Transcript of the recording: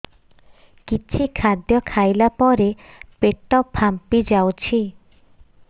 କିଛି ଖାଦ୍ୟ ଖାଇଲା ପରେ ପେଟ ଫାମ୍ପି ଯାଉଛି